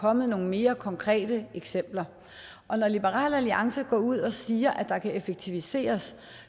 kommet nogle mere konkrete eksempler og når liberal alliance går ud og siger at der kan effektiviseres